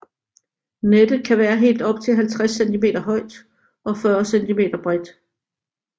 Nettet kan være helt op til 50 cm højt og 40 cm bredt